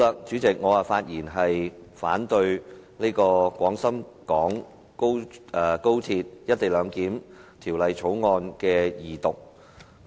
主席，我發言反對《廣深港高鐵條例草案》的二讀。